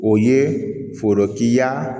O ye forokiya